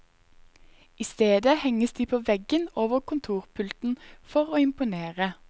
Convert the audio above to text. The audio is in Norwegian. I stedet henges de på veggen over kontorpulten, for å imponere.